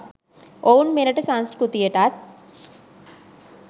ඔවුන් මෙරට සංස්කෘතියටත්